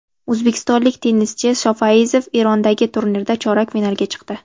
O‘zbekistonlik tennischi Shofayziyev Erondagi turnirda chorak finalga chiqdi.